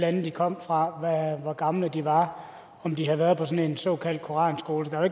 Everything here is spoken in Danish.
lande de kom fra hvor gamle de var og om de havde været på en såkaldt koranskole der er